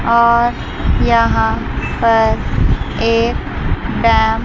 और यहां पर एक डैम --